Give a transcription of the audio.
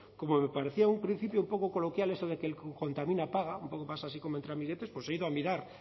como me parecía un principio poco coloquial eso de que el que contamina paga un poco pasa así como entre amiguetes he ido a mirar